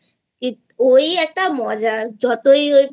ওই একটা মজা যতই